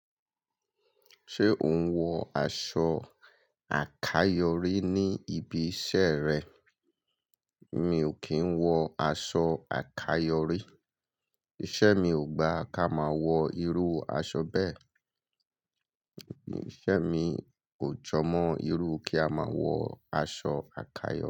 Ṣé o ń wọ aṣọ àkayòrí ní ibi iṣẹ́ rẹ? Mi ò kí ń wọ aṣọ àkayòrí. Iṣẹ́ mi ò gba ká máa wọ irú aṣọ bẹ́ẹ̀. Iṣẹ́ mi kò jọmọ́ irú kí a máa wọ aṣọ àkayòrí.